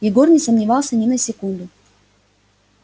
егор не сомневался ни на секунду